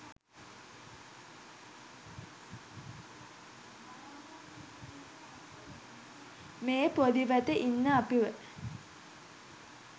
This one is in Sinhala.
මේ පොඩිවට ඉන්න අපිව